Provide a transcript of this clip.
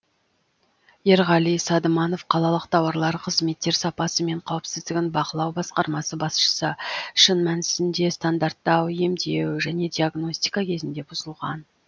ерғали садыманов қалалық тауарлар қызметтер сапасы мен қауіпсіздігін бақылау басқармасы басшысы шын мәнісінде стандарттар емдеу және диагностика кезінде бұзылған